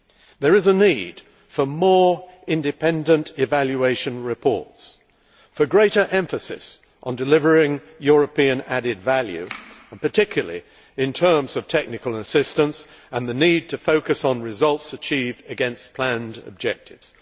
There is a need for more independent evaluation reports, for greater emphasis on delivering European added value particularly in terms of technical assistance and for focusing on results achieved against planned objectives.